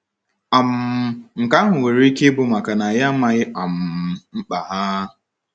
um Nke ahụ nwere ike ịbụ maka na anyị amaghị um mkpa ha.